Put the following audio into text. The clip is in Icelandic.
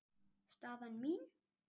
Staðan mín?